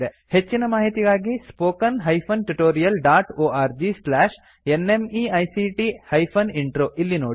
ಹೆಚ್ಚಿನ ಮಾಹಿತಿಗಾಗಿ spoken hyphen tutorial dot org slash NMEICT hyphen intro ಇಲ್ಲಿ ನೋಡಿ